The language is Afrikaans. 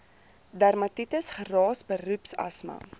dermatitis geraas beroepsasma